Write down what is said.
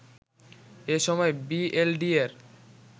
এ সময় বিএলডিএর